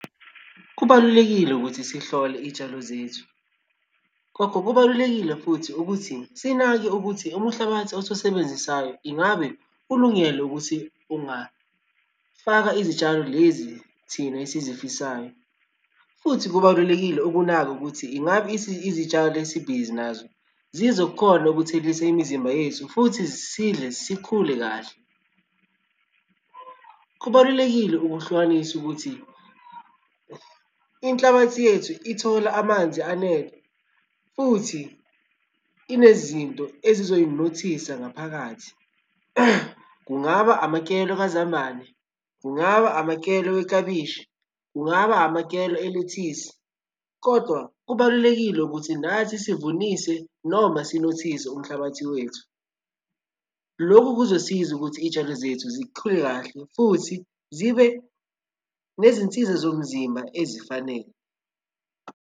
Kubalulekile ukuthi sihlole iy'tshalo zethu. Gogo kubalulekile futhi ukuthi sinake ukuthi umhlabathi osusebenzisayo ingabe ulungele ukuthi ungafaka izitshalo lezi thina esizifisayo, futhi kubalulekile ukunaka ukuthi ingabe izitshalo esibhizi nazo zizokhona ukuthelisa imizimba yethu futhi sidle sikhule kahle. Kubalulekile ukuhlukanisa ukuthi inhlabathi yethu ithola amanzi anele futhi inezinto esizoyinothisa ngaphakathi, kungaba amakelo kazambane, kungaba amakelo weklabishi, kungaba amakela elethisi, kodwa kubalulekile ukuthi nathi sivunise noma sinothise umhlabathi wethu. Lokhu kuzosiza ukuthi izitshalo zethu zikhule kahle futhi zibe nezinsiza zomzimba ezifanele.